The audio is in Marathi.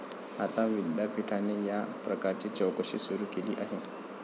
आता विद्यापीठाने या प्रकाराची चौकशी सुरू केली आहे.